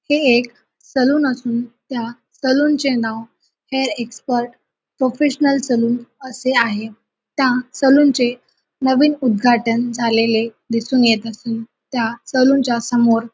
हे एक सलून असुन त्या सलुनचे नाव हेअर एक्सपर्ट प्रोफेशनल सलुन असे आहे त्या सलुनचे नवीन उद्घाटन झालेले दिसुन येत असुन त्या सलुनच्या समोर --